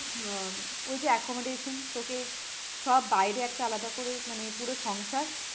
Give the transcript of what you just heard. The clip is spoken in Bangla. আহ ওই যে accommodation তোকে সব বাইরে একটা আলাদা করে মানে পুরো সংসার